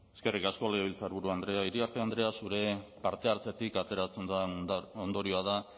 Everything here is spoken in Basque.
eskerrik asko legebiltzarburu andrea iriarte andrea zure parte hartzetik ateratzen dudan ondorioa da